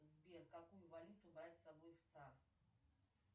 сбер какую валюту брать с собой в цар